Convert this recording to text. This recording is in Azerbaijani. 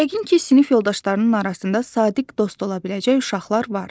Yəqin ki, sinif yoldaşlarının arasında sadiq dost ola biləcək uşaqlar var.